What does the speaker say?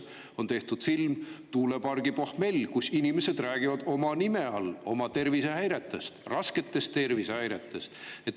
On tehtud film "Tuulepargi pohmell", kus inimesed räägivad oma nime all oma tervisehäiretest, rasketest tervisehäiretest.